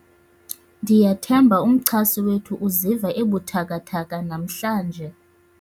ndiyathemba umchasi wethu uziva ebuthathaka namhlanje